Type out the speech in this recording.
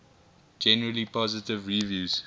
generally positive reviews